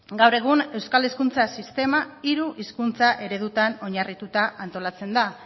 gaur egun euskal hezkuntza sistema hiru hizkuntza eredutan oinarrituta antolatzen da